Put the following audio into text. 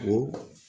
O